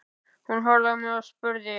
Hún horfði á mig og spurði